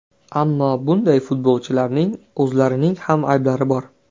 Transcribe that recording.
Ammo bunday futbolchilarning o‘zlarining ham ayblari bor.